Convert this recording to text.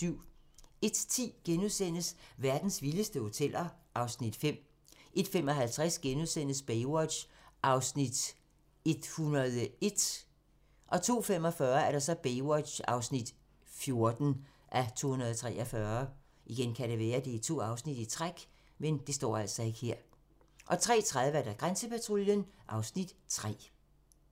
01:10: Verdens vildeste hoteller (Afs. 5)* 01:55: Baywatch (101:243)* 02:45: Baywatch (14:243) 03:30: Grænsepatruljen (Afs. 3)